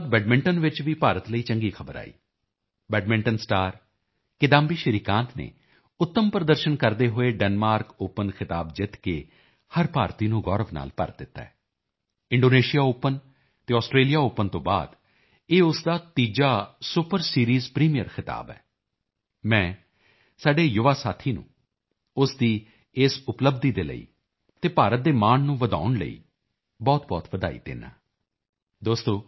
hockey ਤੋਂ ਬਾਅਦ badminton ਚ ਵੀ ਭਾਰਤ ਲਈ ਚੰਗੀ ਖ਼ਬਰ ਆਈ ਬੈਡਮਿੰਟਨ ਸਟਾਰ ਕਿਦਾਂਬੀ ਸ਼੍ਰੀਕਾਂਤ ਨੇ ਉੱਤਮ ਪ੍ਰਦਰਸ਼ਨ ਕਰਦੇ ਹੋਏ ਡੈਨਮਾਰਕ ਓਪਨ ਖਿਤਾਬ ਜਿੱਤ ਕੇ ਹਰ ਭਾਰਤੀ ਨੂੰ ਗੌਰਵ ਨਾਲ ਭਰ ਦਿੱਤਾ ਹੈ ਇੰਡੋਨੇਸ਼ੀਆ ਓਪਨ ਅਤੇ ਆਸਟ੍ਰੇਲੀਆ ਓਪਨ ਤੋਂ ਬਾਅਦ ਇਹ ਉਸ ਦਾ ਤੀਸਰਾ ਸੁਪਰ ਸੀਰੀਜ਼ ਪ੍ਰੀਮੀਅਰ ਖਿਤਾਬ ਹੈ ਮੈਂ ਸਾਡੇ ਯੁਵਾ ਸਾਥੀ ਨੂੰ ਉਸ ਦੀ ਇਸ ਉਪਲੱਬਧੀ ਦੇ ਲਈ ਅਤੇ ਭਾਰਤ ਦੇ ਮਾਣ ਨੂੰ ਵਧਾਉਣ ਲਈ ਬਹੁਤਬਹੁਤ ਵਧਾਈ ਦਿੰਦਾ ਹਾਂ